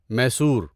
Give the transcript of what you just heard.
Mysore